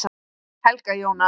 Helga Jóna.